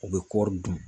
U bɛ kɔri dun